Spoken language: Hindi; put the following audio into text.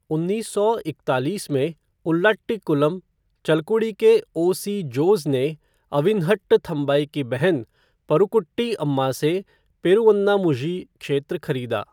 उन्नीस सौ इकतालीस में, उल्लाट्टीकुलम, चलकुडी के ओ सी जोस ने अविन्हट्ट थंबाई की बहन परुकुट्टी अम्मा से पेरूवन्नामुझी क्षेत्र खरीदा।